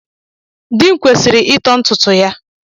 Di m kwesiri ito ntutu ya